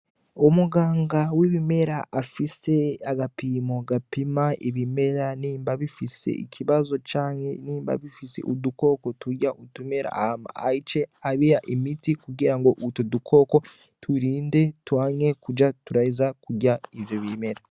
Umuganga wibimera afise agapimo gapima ibimera nimba bifise ikibazo canke nimba bifise udukoko turya utumera hama ace abiha imiti kugirango utu dukoko turinde twanke kuja turaja kurya ivyo bimera.